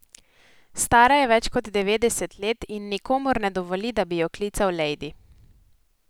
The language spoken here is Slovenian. Stara je več kot devetdeset let in nikomur ne dovoli, da bi jo klical lejdi.